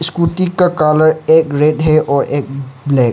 Scooty का colour एक red है और एक ब्लैक ।